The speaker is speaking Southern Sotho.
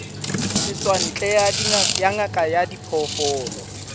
setswantle ya ngaka ya diphoofolo